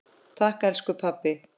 Takk elsku pabbi.